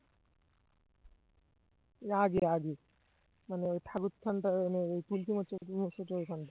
এর আগে আগে মানে ঠাকুর দালানের ওই তুলসী মঞ্চ~ মঞ্চটার এখানটায়